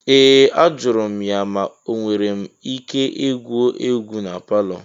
Ee! Ajụrụ m ya ma enwere m ike igwu egwu na palọ.